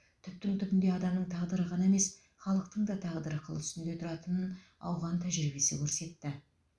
түптің түбінде адамның тағдыры ғана емес халықтың та тағдыры қыл үстінде тұратынын ауған тәжірибесі көрсетті